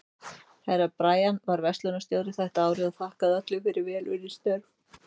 Herra Brian var veislustjóri þetta árið og þakkaði öllum fyrir vel unnin störf.